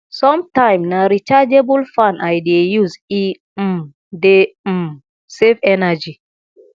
sometimes na rechargeable fan i dey use e um dey um save energy